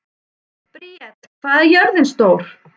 Briet, hvað er jörðin stór?